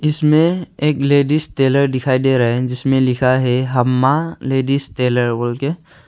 इसमें एक ladies tailor दिखाई दे रहा है जिसमें लिखा है हम्मा लेडीज टेलर बोल के।